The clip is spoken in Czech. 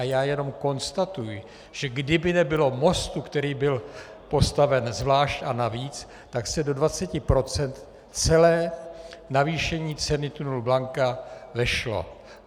A já jenom konstatuji, že kdyby nebylo mostu, který byl postaven zvlášť a navíc, tak se do 20 % celé navýšení ceny tunelu Blanka vešlo.